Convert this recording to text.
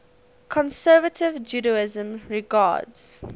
conservative judaism regards